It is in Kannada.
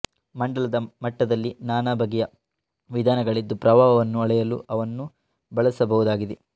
ಮಂಡಲದ ಮಟ್ಟದಲ್ಲಿ ನಾನಾಬಗೆಯ ವಿಧಾನಗಳಿದ್ದು ಪ್ರವಾಹವನ್ನು ಅಳೆಯಲು ಅವನ್ನು ಬಳಸಬಹುದಾಗಿದೆ